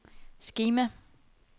skema